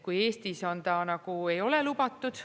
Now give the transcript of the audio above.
Eestis ta nagu ei ole lubatud.